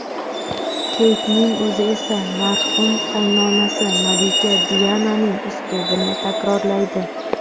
Keytning o‘zi esa marhum qaynonasi malika Diananing uslubini takrorlaydi.